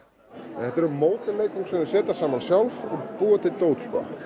þetta eru módel leikföng sem þau setja saman sjálf og búa til dót